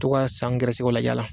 To ka san gɛrɛsɛgɛw lajɛ a la.